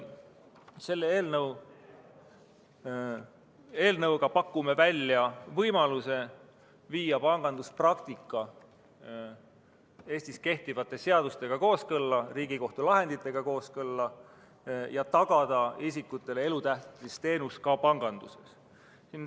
Selle eelnõuga me pakume välja võimaluse viia panganduspraktika Eestis kehtivate seaduste ja Riigikohtu lahenditega kooskõlla ning tagada isikutele elutähtsa teenuse osutamine ka panganduses.